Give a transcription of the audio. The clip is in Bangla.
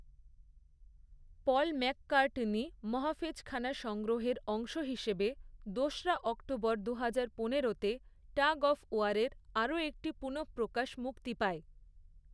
পল ম্যাককার্টনি মহাফেজখানা সংগ্রহের অংশ হিসেবে, দোসরা অক্টোবর দুহাজার পনেরোতে টাগ অফ ওয়ারের আরও একটি পুনঃপ্রকাশ মুক্তি পায়।